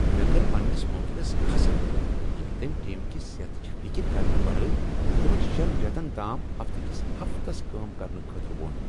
مےٚ کٔر پننس موکلس کھسٕر ییٚلہ تٔمۍ ٹیم کہ صحتٕچ فکر کرنہٕ ورٲے تمن شین ریتن تام ہفتہٕ کس ہفتس کٲم کرنہٕ خٲطرٕ ووٚن۔